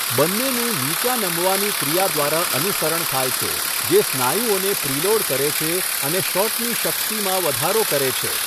બંનેનું નીચા નમવાની ક્રિયા દ્વારા અનુસરણ થાય છે જે સ્નાયુઓને પ્રીલોડ કરે છે અને શોટની શક્તિમાં વધારો કરે છે.